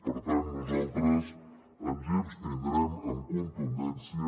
per tant nosaltres ens hi abstindrem amb contundència